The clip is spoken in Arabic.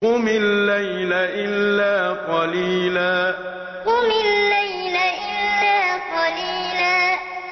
قُمِ اللَّيْلَ إِلَّا قَلِيلًا قُمِ اللَّيْلَ إِلَّا قَلِيلًا